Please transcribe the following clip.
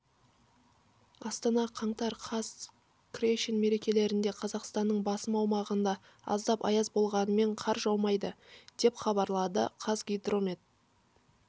астана қаңтар қаз крещен мерекелерінде қазақстанның басым аумағында аздап аяз болғанымен қар жаумайды деп хабарлады қазгидромет